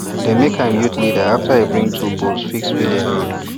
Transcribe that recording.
dem make am youth leader after e bring two bulls fix village road